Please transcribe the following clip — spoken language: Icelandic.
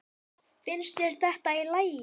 Finnst þér þetta í lagi?